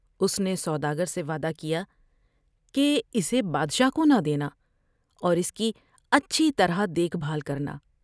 اس نے سودا گر سے وعدہ کیا کہ اسے بادشاہ کونہ دینا اور اس کی اچھی طرح دیکھ بھال کرنا ۔